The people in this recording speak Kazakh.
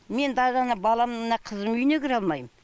мен даже ана балам мына қызымның үйіне кіре алмайм